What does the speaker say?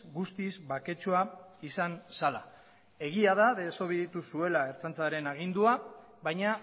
guztiz baketsua izan zela egia da desobeditu zuen ertzaintzaren agindua baina